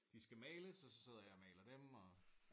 De skal males og så sidder jeg og maler dem og